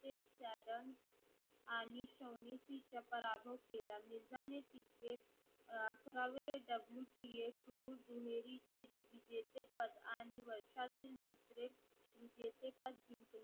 एकाजण आणि सोमितीचे पराभव केला. मिर्झाने तिचे अकरावे WTA दुहेरीचे विजेचे पत आणि वर्षातून दुसरे विजेचे पत